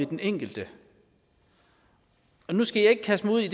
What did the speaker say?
den enkelte nu skal jeg ikke kaste mig ud i